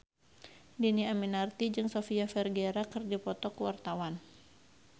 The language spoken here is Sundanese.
Dhini Aminarti jeung Sofia Vergara keur dipoto ku wartawan